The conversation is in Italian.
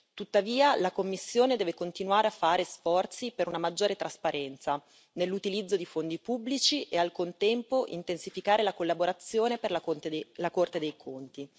Tuttavia, la Commissione deve continuare a fare sforzi per una maggiore trasparenza nell'utilizzo di fondi pubblici e al contempo intensificare la collaborazione per la Corte dei conti.